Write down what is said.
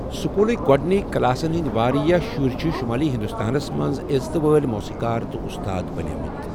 سکولٕک گۄڈٕنِک کلاسَن ہنٛدۍ واریاہ شُرۍ چھِ شمٲلی ہندوستانَس منٛز عزتہٕ وٲلۍ موسیٖقار تہٕ اُستاد بَنیمٕت۔